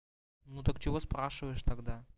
ну так чего спрашиваешь тогда